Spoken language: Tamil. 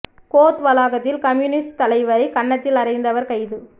கோர்ட் வளாகத்தில் கம்யூனிஸ்ட் தலைவரை கன்னத்தில் அறைந்தவர் கைது